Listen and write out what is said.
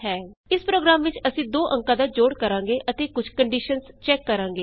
ਇਸ ਪ੍ਰੋਗਰਾਮ ਵਿਚ ਅਸੀਂ ਦੋ ਅੰਕਾਂ ਦਾ ਜੋੜ ਕਰਾਂਗੇ ਅਤੇ ਕੁਝ ਕੰਡੀਸ਼ਨਸ ਚੈਕ ਕਰਾਂਗੇ